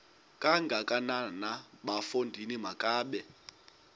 kangakanana bafondini makabe